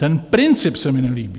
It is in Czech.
Ten princip se mi nelíbí.